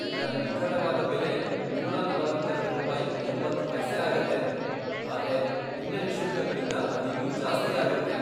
ಇದ್ರ ನಿಖರವಾದ ಬೆಲೆ ನೂರಾ ನಲವತ್ತೆರೆಡು ರೂಪಾಯಿ ಎಂಬತ್ತ್ ಪೈಸೆ ಆಗತ್ತೆ, ಆದ್ರೆ ಹಿನ್ನೆಲೆ ಶುಲ್ಕಗಳಿಂದ ಅದಿನ್ನೂ ಜಾಸ್ತಿ ಆಗತ್ತೆ.